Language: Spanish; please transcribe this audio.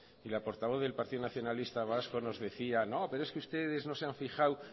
y la portavoz del partido nacionalista vasco nos decía no pero es que ustedes no se han fijado